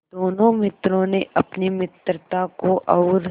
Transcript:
दोनों मित्रों ने अपनी मित्रता को और